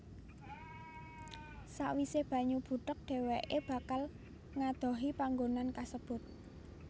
Sawise banyu butek dheweké bakal ngadohi panggonan kasebut